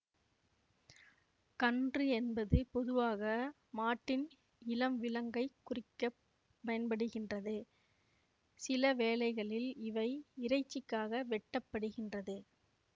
கன்று என்பது பொதுவாக மாட்டின் இளம் விலங்கைக் குறிக்க பயன்படுகின்றது சில வேளைகளில் இவை இறைச்சிக்காக வெட்டப்படுகின்றது